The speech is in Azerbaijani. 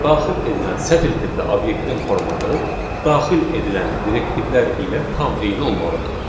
Daxil edilən sətr tipli obyektin formatı daxil edilən direktivlər ilə tam eyni olmalıdır.